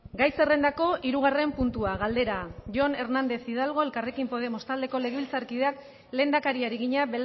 gai zerrendako hirugarren puntua galdera jon hernández hidalgo elkarrekin podemos taldeko legebiltzarkideak lehendakariari egina